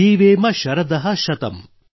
ಜೀವೇಮ ಶರದಃ ಶತಂ